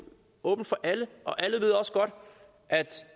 åbent for alle og alle ved også godt at